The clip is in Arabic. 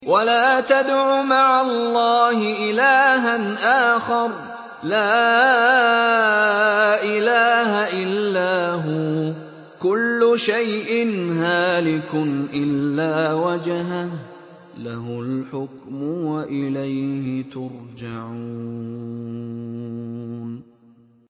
وَلَا تَدْعُ مَعَ اللَّهِ إِلَٰهًا آخَرَ ۘ لَا إِلَٰهَ إِلَّا هُوَ ۚ كُلُّ شَيْءٍ هَالِكٌ إِلَّا وَجْهَهُ ۚ لَهُ الْحُكْمُ وَإِلَيْهِ تُرْجَعُونَ